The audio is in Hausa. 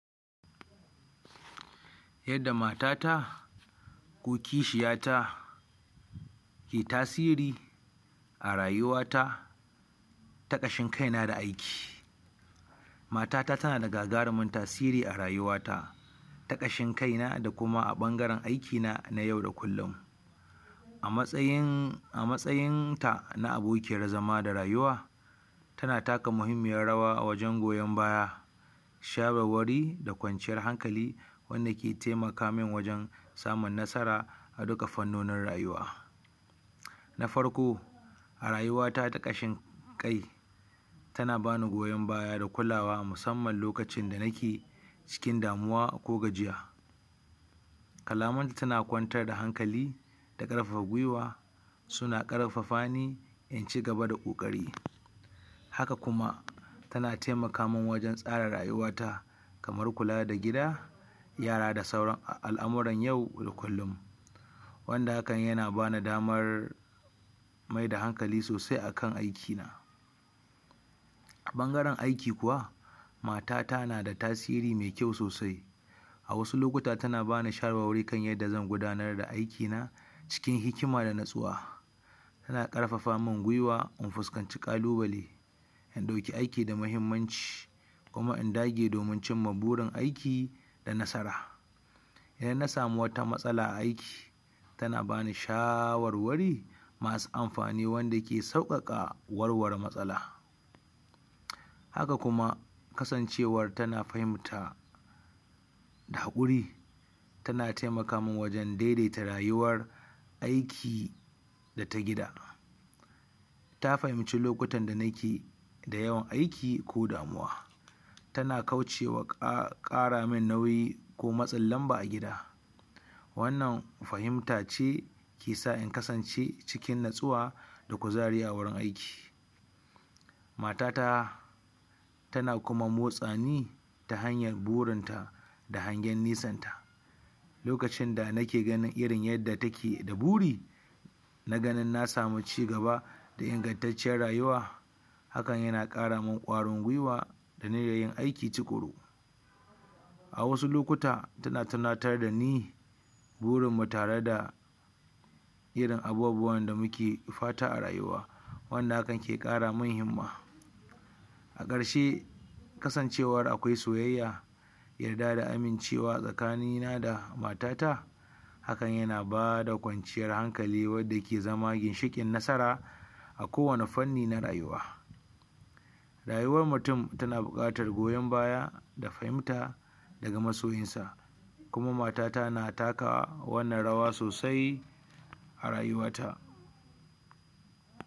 yadda matata ko kishiya ta ke tasiri a rayuwa ta ka ƙashin kaina da aiki matata tana da gagarunmin tasiri a rayuwata ta ƙashin kaina da kuma a ɓangaren aikina na yau da kullun amatsayin ta na abokiyar zama da rayuwa tana kata mahimmiyar rawa a wajen goyan baya, shawarwari da kwanciyar hankali wanda ke taimaka min wajen samun nasara a duka fannonin rayuwa. na farko a rayuwata ta ƙashin kai tana bani goyon baya da kulawa musamman lokacin da nake cikin damuwa ko gajiya kalamanta tana kwantar da hankali da ƙarfafa gwiwa suna ƙarfafa ni in cigaba da ƙoƙari haka kuma tana tai akamin wajen tsara rayuwata kamar kula da gida, yara da sauran al'amuran yau da ku wanda hakan yana bani damar maida hankali sosai akan aiki na a ɓangaren aiki kuwa matata nada tasiri mai kyau sosai a wasu lokuta tana bani shawarwari kan yadda zan gudanar da aiki na cikin hikima danatsuwa tana ƙarfafa min gwiwa in fuskanci ƙalubale in ɗauka aiki da mahimmanci kuma in dage domin cimma burin aiki da nasara idan na samu wata matsala a aiki tana bani wasu shawarwari masu amfani wanda ke sauƙaƙa warware matsala haka kuma kasancewar tana fahimta da haƙuri tana taimaka min wajen daidaita rayuwar aiki da ta gida ta fahimci lokutan da nake da yawan aiki ko damuwa tana kaucewa ƙa ƙaramin nauyi ko matsin lamba a gida wannan fahimta ce kesa in kasance cikin natsuwa da kuzari a wurin aiki matata tana kuma motsani ta hanyan burin ta da hangen nesan ta lokacin da nake ganin irin yadda take da buri na ganin na samu ci gaba da ingantacciyar rayuwa hakan yana ƙara min ƙwarin gwiwa da niyan yin aiki tuƙuru a wasu lokuta tana tunatar dani gurin mu tareda irin abubuwan da muke fata a rayuwa wanda hakan ke ƙaramin himma a ƙarshe kasancewar akwai soyayya, yarda da amincewa tsakani na da matata hakan yana bada kwanciyar hankali wanda yake zama ginshiƙin nasara a kowane fanni na rayuwa rayuwan mutum tana buƙatar goyon baya da fahimta daga masoyin sa kuma matata na taka wannan rawa sosai a rayuwa ta.